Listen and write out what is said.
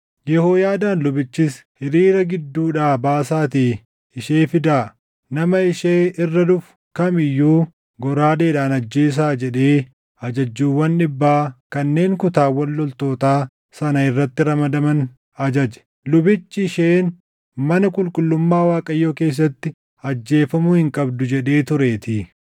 Yehooyaadaan lubichis, “Hiriira gidduudhaa baasaatii ishee fidaa; nama ishee irra dhufu kam iyyuu goraadeedhaan ajjeesaa” jedhee ajajjuuwwan dhibbaa kanneen kutaawwan loltootaa sana irratti ramadaman ajaje. Lubichi, “Isheen mana qulqullummaa Waaqayyoo keessatti ajjeefamuu hin qabdu” jedhee tureetii.